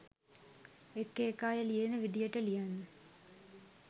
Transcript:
එක එක අය ලියන විදියට ලියන්න